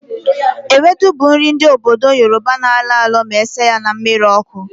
Ewedu bụ nri ndị obodo Yoroba na-alọ alọ ma esie ya na mmiri ọkụ